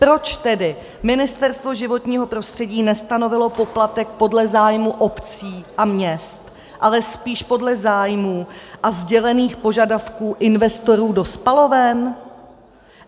Proč tedy Ministerstvo životního prostředí nestanovilo poplatek podle zájmu obcí a měst, ale spíše podle zájmů a sdělených požadavků investorů do spaloven?